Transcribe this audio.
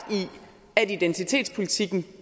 i at identitetspolitikken